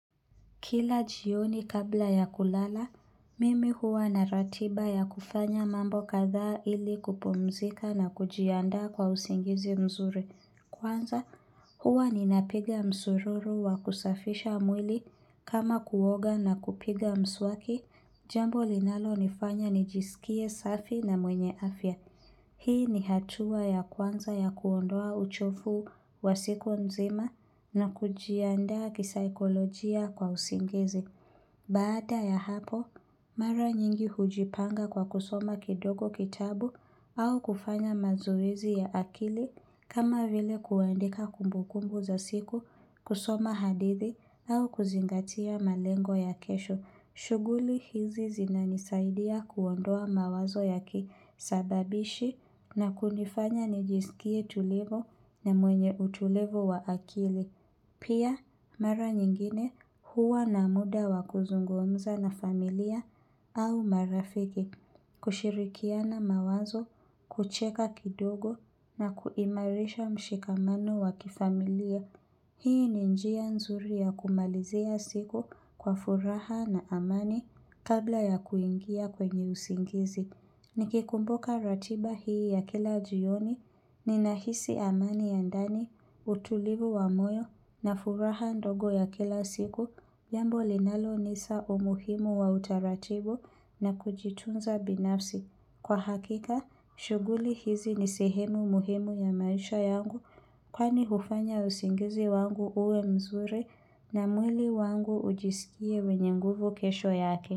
Kila jioni kabla ya kulala, mimi huwa na ratiba ya kufanya mambo katha ili kupumzika na kujianda kwa usingizi mzuri. Kwanza, huwa ninapiga msururu wa kusafisha mwili kama kuoga na kupiga mswaki, jambo linalonifanya nijisikie safi na mwenye afya. Hii ni hatua ya kwanza ya kuondoa uchofu wa siku nzima na kujianda kisaikolojia kwa usingizi. Baada ya hapo, mara nyingi hujipanga kwa kusoma kidogo kitabu au kufanya mazoezi ya akili kama vile kuandika kumbukumbu za siku, kusoma hadithi au kuzingatia malengo ya kesho. Shuguli hizi zinanisaidia kuondoa mawazo ya kisababishi na kunifanya nijisikie tulivu na mwenye utulivu wa akili. Pia mara nyingine huwa na muda wa kuzungumza na familia au marafiki. Kushirikiana mawazo, kucheka kidogo na kuimarisha mshikamano wa kifamilia. Hii ni njia nzuri ya kumalizia siku kwa furaha na amani kabla ya kuingia kwenye usingizi. Nikikumbuka ratiba hii ya kila jioni ninahisi amani ya ndani, utulivu wa moyo na furaha ndogo ya kila siku. Jambo linalo nisa umuhimu wa utaratibu na kujitunza binafsi. Kwa hakika, shuguli hizi ni sehemu muhimu ya maisha yangu kwani hufanya usingizi wangu uwe mzuri na mwili wangu ujisikie wenye nguvu kesho yake.